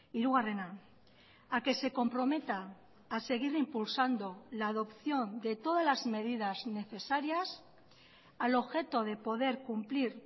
hirugarrena a que se comprometa a seguir impulsando la adopción de todas las medidas necesarias al objeto de poder cumplir